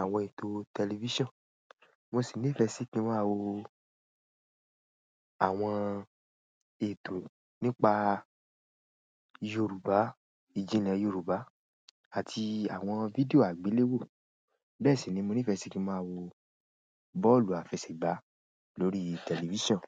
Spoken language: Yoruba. àwọn ètò tẹlifíṣàn. Mo sì nífẹ̀ẹ́ sí kí n máa wo àwọn ètò nípa Yorùbá, ìjìnlẹ̀ Yorùbá àti àwọn fídíò àgbéléwò. Bẹ́ẹ̀ sì ni mo nífẹ̀ẹ́ sì kí n máa wo bọ́ọ̀lù àfẹsẹ̀gbá lórí tẹlifíṣàn.